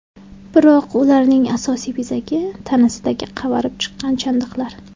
Biroq ularning asosiy bezagi tanasidagi qavarib chiqqan chandiqlar.